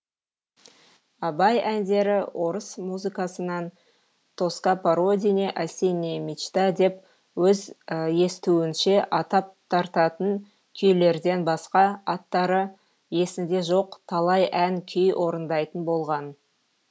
абай әндері орыс музыкасынан тоска по родине осенняя мечта деп өз естуінше атап тартатын күйлерден басқа аттары есінде жоқ талай ән күй орындайтын болған